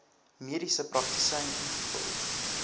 mediese praktisyn ingevul